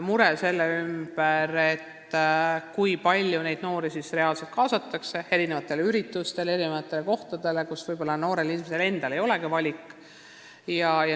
Muret põhjustab asjaolu, kui palju neid noori reaalselt kaasatakse üritustele eri kohtades, kus võib-olla noorel inimesel endal ei olegi valikut.